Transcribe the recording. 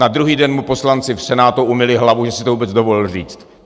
Na druhý den mu poslanci v Senátu umyli hlavu, že si to vůbec dovolil říct.